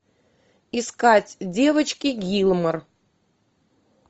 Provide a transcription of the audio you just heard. искать девочки гилмор